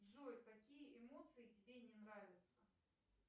джой какие эмоции тебе не нравятся